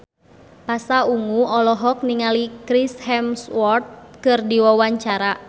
Pasha Ungu olohok ningali Chris Hemsworth keur diwawancara